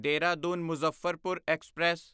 Dehradun Muzaffarpur express